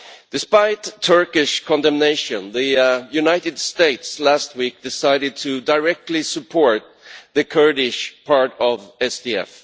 Despite Turkish condemnation, the United States last week decided to directly support the Kurdish part of SDF.